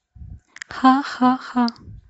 ха ха ха